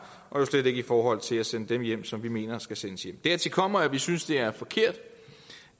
og jo slet ikke i forhold til at sende dem hjem som vi mener skal sendes hjem dertil kommer at vi synes det er forkert